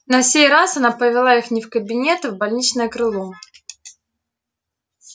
на сей раз она повела их не в кабинет а в больничное крыло